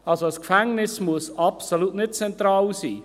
Also: Ein Gefängnis muss absolut zentral sein.